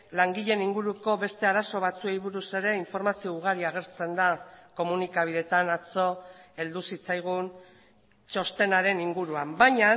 langileen inguruko beste arazo batzuei buruz ere informazio ugari agertzen da komunikabideetan atzo heldu zitzaigun txostenaren inguruan baina